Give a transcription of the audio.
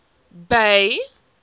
bay